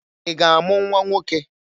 Ị ga-amụ nwa nwoke?